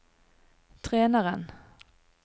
treneren